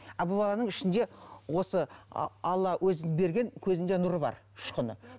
а бұл баланың ішінде осы алла өзі берген көзінде нұры бар ұшқыны